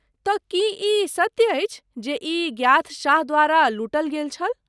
तँ, की ई सत्य अछि जे ई गियाथ शाह द्वारा लूटल गेल छल?